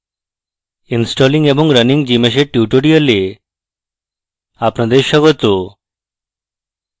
installing এবং running gmsh এর tutorial আপনাদের স্বাগত